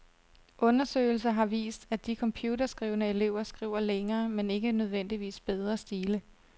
Undersøgelser har vist, at de computerskrivende elever skriver længere, men ikke nødvendigvis bedre stile.